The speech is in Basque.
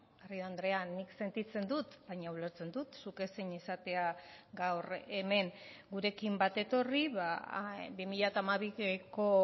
garrido andrea nik sentitzen dut baina ulertzen dut zuk ezin izatea gaur hemen gurekin bat etorri bi mila hamabiko